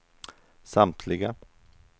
samtliga